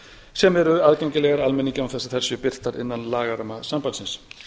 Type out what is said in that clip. sem eru aðgengilegar almenningi án þess að þær séu birtar innan lagaramma sambandsins